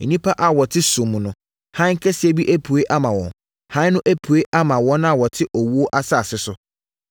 nnipa a wɔte sum mu no, Hann kɛseɛ bi apue ama wɔn. Hann no apue ama wɔn a wɔte owuo asase so.”